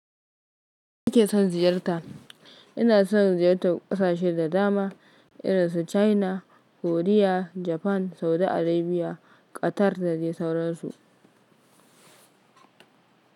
Kin ke son ziyarta? Ina son ziyartar ƙasashe da dama irin su China, Koriya, Japan, Saudi Arabia, Qatar da dai sauransu.